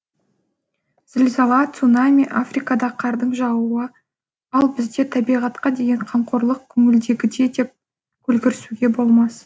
зілзала цунами африкада қардың жаууы т т ал бізде табиғатқа деген қамқорлық көңілдегідей деп көлгірсуге болмас